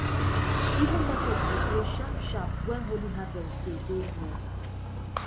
even market go close sharpsharp when holy harvest day dey near